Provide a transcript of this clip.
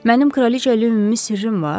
Mənim Kraliçə ilə ümumi sirrim var.